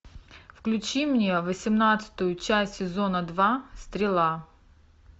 включи мне восемнадцатую часть сезона два стрела